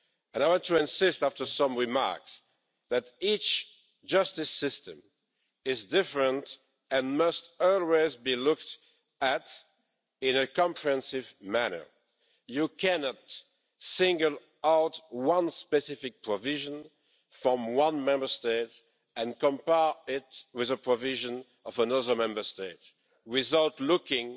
I want to insist, after some remarks, that each justice system is different and must always be looked at in a comprehensive manner. You cannot single out one specific provision from one Member State and compare it with a provision of another Member State without looking